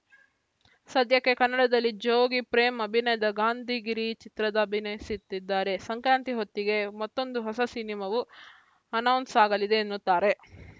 ಸದ್ಯಕ್ಕೆ ಕನ್ನಡದಲ್ಲಿ ಜೋಗಿ ಪ್ರೇಮ್‌ ಅಭಿನಯದ ಗಾಂಧಿಗಿರಿ ಚಿತ್ರದ ಅಭಿನಯಿಸಿದ್ದಾರೆ ಸಂಕ್ರಾಂತಿ ಹೊತ್ತಿಗೆ ಮತ್ತೊಂದು ಹೊಸ ಸಿನಿಮಾವೂ ಅನೌನ್ಸ್‌ ಆಗಲಿದೆ ಎನ್ನುತ್ತಾರೆ